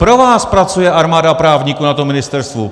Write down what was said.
Pro vás pracuje armáda právníků na tom ministerstvu.